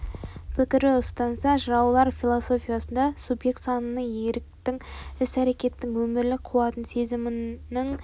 пікір ұстанса жыраулар философиясында субъект сананың еріктің іс-әрекеттің өмірлік қуаттың сезімнің және